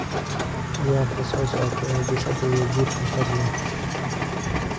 ciyaarta soo socota ee bisadda iyo jiirka fadlan